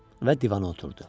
Və divana oturdu.